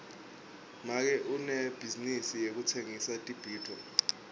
make unebhizinisi yekutsengisa tibhidvo